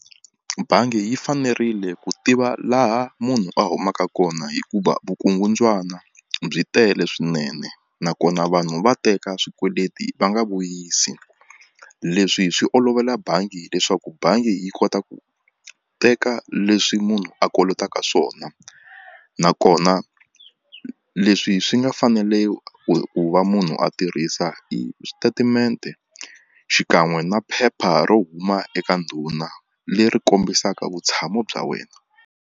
Bangi yi fanerile ku tiva laha munhu a humaka kona hikuva vukungundzwana byi tele swinene nakona vanhu va teka swikweleti va nga vuyisi leswi hi swi olovela bangi leswaku bangi yi kota ku teka leswi munhu a kolotaka swona nakona leswi swi nga fanele ku va munhu a tirhisa hi e xitatimende xikan'we na phepha ro huma eka ndhuna leri kombisaka vutshamo bya wena.